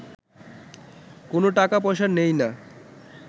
কোনো টাকা-পয়সা নেই না